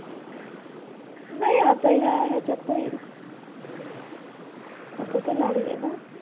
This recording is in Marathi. नाही आता ह्या ह्याच्यात होईल. आता तर लागले ना.